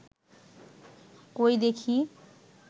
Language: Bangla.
কই দেখি